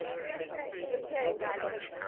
തീർച്ചയായും തീർച്ചയായും കാൽപന്ത്